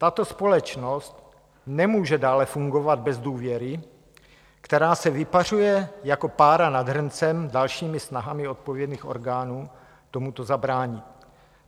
Tato společnost nemůže dále fungovat bez důvěry, která se vypařuje jako pára nad hrncem dalšími snahami odpovědných orgánů tomuto zabránit.